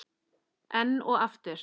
Enn og aftur.